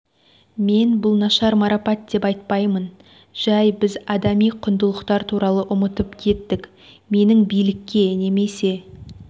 мен бұл нашар марапат деп айтпаймын жай біз адами құндылықтар туралы ұмытып кеттік менің билікке немесе